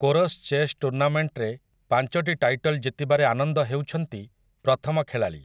Chorus chess ଟୁର୍ଣ୍ଣାମେଣ୍ଟ୍‌ରେ ପାଞ୍ଚଟି title ଜିତିବାରେ ଆନନ୍ଦ ହେଉଛନ୍ତି ପ୍ରଥମ ଖେଳାଳି ।